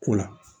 Ko la